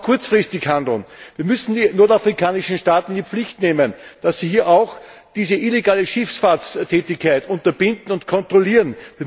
Wir müssen aber auch kurzfristig handeln Wir müssen die nordafrikanischen Staaten in die Pflicht nehmen, dass sie hier auch diese illegale Schifffahrtstätigkeit unterbinden und kontrollieren.